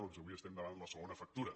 doncs avui estem davant la segona factura